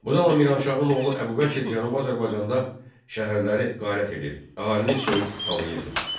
Bu zaman Miranşahın oğlu Əbubəkr Cənubi Azərbaycanda şəhərləri qarət edir, əhalini soyub talayırdı.